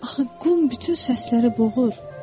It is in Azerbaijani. Axı qum bütün səsləri boğur.